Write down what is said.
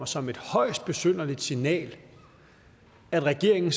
som et højst besynderligt signal at regeringen